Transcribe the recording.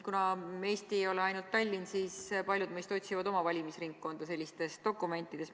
Kuna Eesti ei ole ainult Tallinn, siis paljud meist otsivad oma valimisringkonda sellistest dokumentidest.